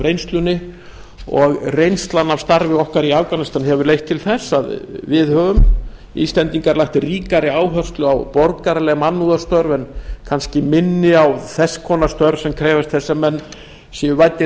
reynslunni og reynslan af starfi okkar í afganistan hefur leitt til þess að við höfum íslendingar lagt ríkari áherslu á borgaraleg mannúðarstörf en kannski minni á þess konar störf sem krefjast þess að menn séu væddir